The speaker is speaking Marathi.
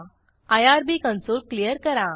आयआरबी कंसोल क्लियर करा